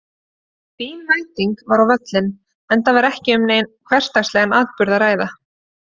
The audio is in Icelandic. Fín mæting var á völlinn enda var ekki um neinn hversdagslegan atburð að ræða.